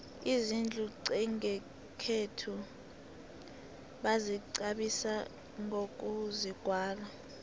izindlu nqesikhethu bazikqabisa nqokuzigwala